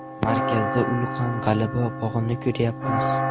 Markazda ulkan G‘alaba bog‘ini quryapmiz.